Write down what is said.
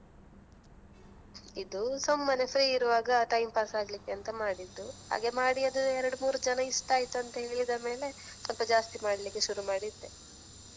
ಇದು ಸುಮ್ಮನೆ free ಇರುವಾಗ time pass ಆಗ್ಲಿಕಂತ ಮಾಡಿದ್ದು. ಹಾಗೆ ಮಾಡಿದ್ದು ಅದು ಎರಡು ಮೂರು ಜನ ಇಷ್ಟ ಆಯ್ತು ಅಂತ ಹೇಳಿದ ಮೇಲೆ ಸ್ವಲ್ಪ ಜಾಸ್ತಿ ಮಾಡ್ಲಿಕ್ಕೆ ಶುರು ಮಾಡಿದ್ದೆ.